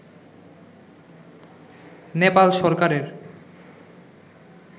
নেপাল সরকারের